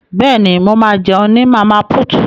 Bẹ́ẹ̀ni, mo ma jẹun ní Màmá put